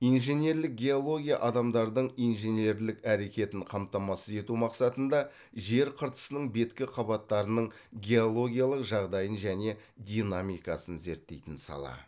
инженерлік геология адамдардың инженерлік әрекетін қамтамасыз ету мақсатында жер қыртысының беткі қабаттарының геологиялық жағдайын және динамикасын зерттейтін сала